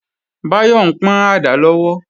Báyọ̀ ń pọ́n àdá lọ́wọ́